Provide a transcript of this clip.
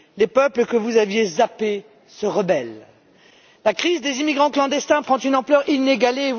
Les peuples, que vous aviez zappés, se rebellent. La crise des immigrants clandestins prend une ampleur inégalée.